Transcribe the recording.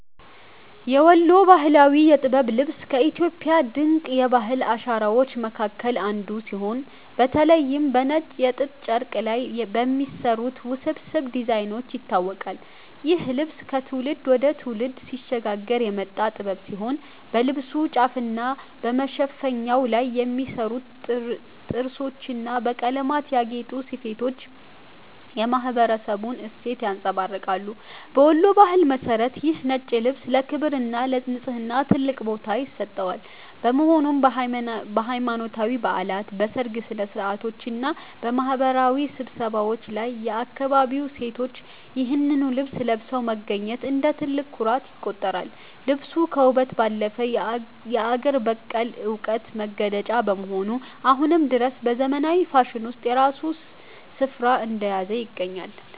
የወሎ ባህላዊ የጥበብ ልብስ ከኢትዮጵያ ድንቅ የባህል አሻራዎች መካከል አንዱ ሲሆን፤ በተለይም በነጭ የጥጥ ጨርቅ ላይ በሚሰሩት ውስብስብ ዲዛይኖች ይታወቃል። ይህ ልብስ ከትውልድ ወደ ትውልድ ሲሸጋገር የመጣ ጥበብ ሲሆን፣ በልብሱ ጫፍና በመሸፈኛው ላይ የሚሰሩት ጥርሶችና በቀለማት ያጌጡ ስፌቶች የማኅበረሰቡን እሴት ያንጸባርቃሉ። በወሎ ባህል መሠረት ይህ ነጭ ልብስ ለክብርና ለንጽሕና ትልቅ ቦታ ይሰጠዋል፤ በመሆኑም በሃይማኖታዊ በዓላት፣ በሰርግ ሥነ-ሥርዓቶችና በማኅበራዊ ስብሰባዎች ላይ የአካባቢው ሴቶች ይህንኑ ልብስ ለብሰው መገኘት እንደ ትልቅ ኩራት ይቆጠራል። ልብሱ ከውበት ባለፈ የአገር በቀል ዕውቀት መገለጫ በመሆኑ፣ አሁንም ድረስ በዘመናዊው ፋሽን ውስጥ የራሱን ስፍራ እንደያዘ ይገኛል።